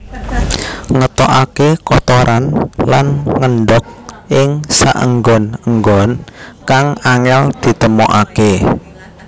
Ngetokaké kotoran lan ngendhog ing saenggon enggon kang angél ditemokaké